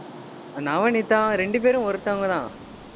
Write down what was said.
நவநீதா, ரெண்டு பேரும் ஒருத்தவங்கதான்